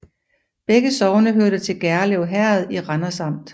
Begge sogne hørte til Gjerlev Herred i Randers Amt